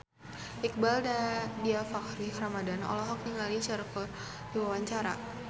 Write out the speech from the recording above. Iqbaal Dhiafakhri Ramadhan olohok ningali Cher keur diwawancara